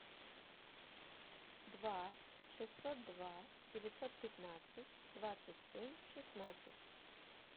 два шестьсот два девятьсот пятнадцать двадцать семь шестнадцать